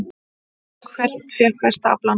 Hvert fékk besta aflann?